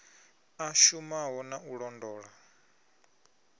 a shumaho na u londa